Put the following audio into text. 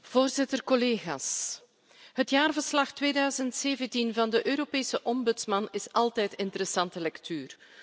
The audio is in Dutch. Voorzitter, collega's, het jaarverslag 2017 van de Europese Ombudsman is altijd interessante lectuur.